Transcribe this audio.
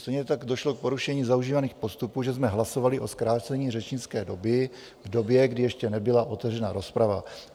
Stejně tak došlo k porušení zaužívaných postupů, že jsme hlasovali o zkrácení řečnické doby v době, kdy ještě nebyla otevřena rozprava.